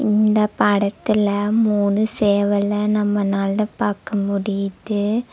இந்த படத்துல மூணு சேவல நம்மனால பாக்க முடியிது.